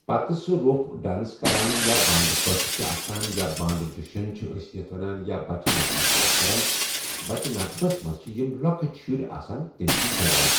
پَتہٕ سُہ روٚف ڈانس کَران یا بانڈٕ پٲتھٕر چھِ آسان یا بانڈٕ جَشن چھِ أسۍ یتھ وَنان یا بچَہ نغمہٕ چھِ أسۍ کَران، بَچَہ نغمَس منٛز چھِ یِم لۄکٕٹۍ شُرۍ آسان تِم چھِ گٮ۪وان۔